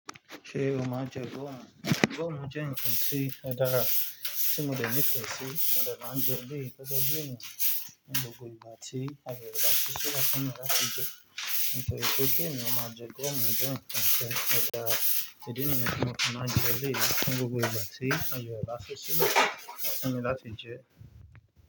Ṣé o ma ńjẹ gọ́ọ̀mù? Gọ́ọ̀mù jẹ́ ǹkan tí ó dára tí mo dẹ̀ nífẹ̀ sí, mo dẹ̀ máa ń jẹ eléyìí gẹ́gẹ́ ènìyàn ní gbogbo ìgbà tí ààye rẹ̀ bá ṣí sílẹ̀ fún mi láti jẹ. Nítorí pé kí ènìyàn máa jẹ gọ́ọ̀mù jẹ ǹkan tí ó dára, ìdí niyẹn tí mò fi máa njẹ eléyìí ní gbogbo ìgbà tí ààye rẹ̀ bá ṣí sílẹ̀ fún mi láti jẹ.